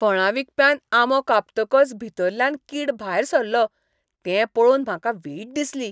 फळां विकप्यान आंबो कापतकच भितरल्यान कीड भायर सरलो तें पळोवन म्हाका वीट दिसली.